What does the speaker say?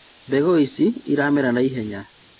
Mbegu ici iramera naihenya